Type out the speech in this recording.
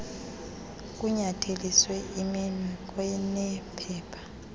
kunyatheliswa iminwe kwanephepha